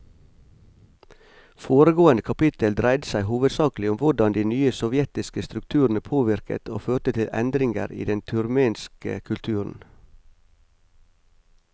Foregående kapittel dreide seg hovedsakelig om hvordan de nye sovjetiske strukturene påvirket og førte til endringer i den turkmenske kulturen.